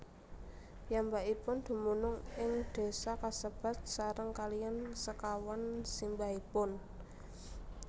Piyambakipun dumunung ing désa kasebat sareng kaliyan sekawan simbahipun